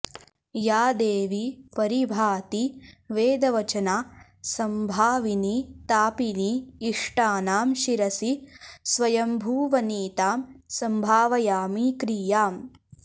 या देवी परिभाति वेदवचना संभाविनी तापिनी इष्टानां शिरसि स्वयम्भुवनितां संभावयामि क्रियाम्